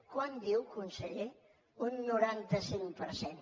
quant diu conseller un noranta cinc per cent